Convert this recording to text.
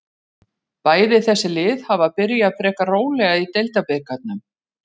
Bæði þessi lið hafa byrjað frekar rólega í deildabikarnum.